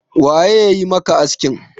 waye ya yi maka askin?